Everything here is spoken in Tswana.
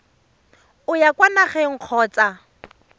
o ya kwa nageng kgotsa